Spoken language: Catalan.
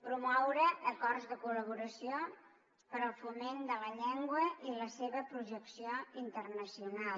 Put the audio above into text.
promoure acords de col·laboració per al foment de la llengua i la seva projecció internacional